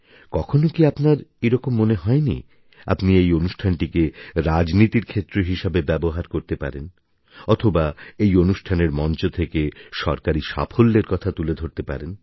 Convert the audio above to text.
কখনও কি আপনার এই রকম মনে হয়নি আপনি এই অনুষ্ঠানটিকে রাজনীতির ক্ষেত্র হিসাবে ব্যবহার করতে পারেন অথবা এই অনুষ্ঠানের মঞ্চ থেকে সরকারী সাফল্যের কথা তুলে ধরতে পারেন